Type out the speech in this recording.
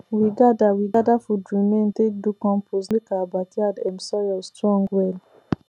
we gather we gather food remain take do compost make our backyard um soil strong well